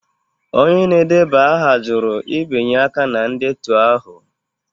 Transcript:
Onye na-edeba aha jụrụ ibinye aka na ndetu ahụ